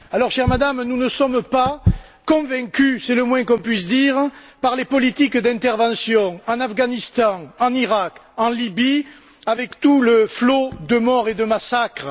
Alors, chère Madame, nous ne sommes pas convaincus c'est le moins qu'on puisse dire par les politiques d'intervention en Afghanistan, en Iraq et en Libye avec tout le flot de morts et de massacres.